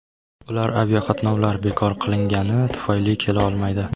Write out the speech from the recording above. Ular aviaqatnovlar bekor qilingani tufayli kela olmaydi.